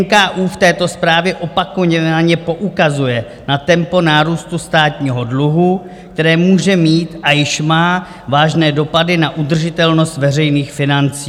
NKÚ v této zprávě opakovaně poukazuje na tempo nárůstu státního dluhu, které může mít a již má vážné dopady na udržitelnost veřejných financí.